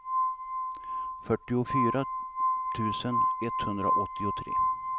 fyrtiofyra tusen etthundraåttiotre